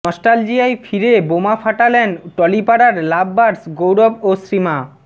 নস্টালজিয়ায় ফিরে বোমা ফাঁটালেন টলিপাড়ার লাভবার্ডস গৌরব ও শ্রীমা